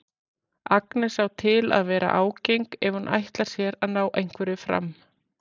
Agnes á til að vera ágeng ef hún ætlar sér að ná einhverju fram.